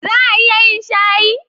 Za a iya yin shayi?